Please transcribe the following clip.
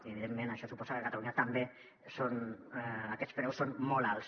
i evidentment això suposa que a catalunya també aquests preus són molt alts